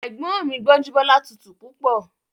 Ẹ̀gbọ́n mi Gbọ́njúbọ́lá tutù púpọ̀